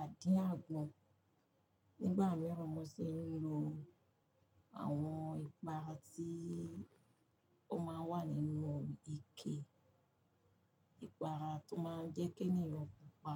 àdí àgbọn. Nígbà mìíràn mo sì ń lo àwọn ìpara tí ó máa ń wà nínú ike ìpara tó máa ń jẹ́ kí ènìyàn pupa.